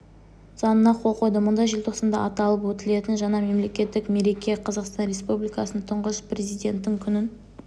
заңына қол қойды мұнда желтоқсанда аталып өтілетін жаңа мемлекеттік мереке қазақстан республикасының тұңғыш президенті күнін